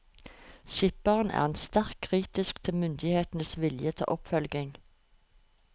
Skipperen er sterkt kritisk til myndighetenes vilje til oppfølging.